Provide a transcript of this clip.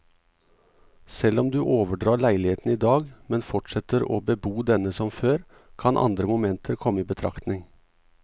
Selv om du overdrar leiligheten i dag, men fortsetter å bebo denne som før, kan andre momenter komme i betraktning.